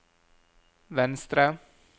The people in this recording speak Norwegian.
venstre